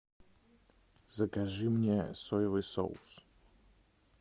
закажи мне соевый соус